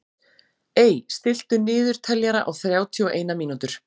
Ey, stilltu niðurteljara á þrjátíu og eina mínútur.